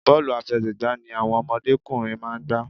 Bọ́ọ̀lù àfẹsẹ̀gbá ni àwọn òdọ́mọkùnrin máa ń gbá.